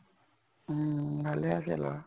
উম । ভালে আছে লʼৰা ।